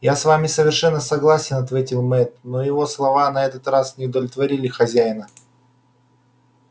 я с вами совершенно согласен ответил мэтт но его слова и на этот раз не удовлетворили хозяина